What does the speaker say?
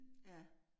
Ja